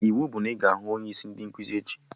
Iwu bụ na ị ga-ahụ onye isi ndị nkụzi echi!